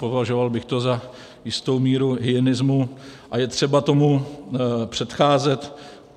Považoval bych to za jistou míru hyenismu a je třeba tomu předcházet.